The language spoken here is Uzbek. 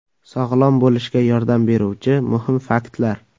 Sog‘lom bo‘lishga yordam beruvchi muhim faktlar.